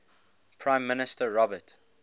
prime minister robert